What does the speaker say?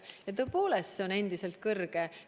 Ja tõepoolest, see on endiselt kõrge.